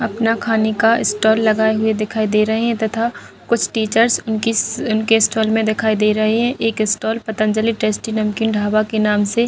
अपना खाने का स्टॉल लगाए हुए दिखाई दे रहें हैं तथा कुछ टीचर्स इनके स्टॉल में दिखाई दे रहें हैं एक स्टॉल पतंजलि टेस्टी नमकीन ढाबा के नाम से।